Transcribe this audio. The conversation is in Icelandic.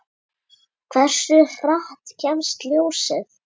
Hversu hratt kemst ljósið?